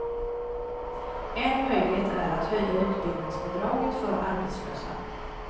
En möjlighet är att höja utbildningsbidraget för arbetslösa.